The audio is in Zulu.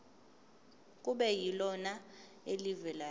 kube yilona elivela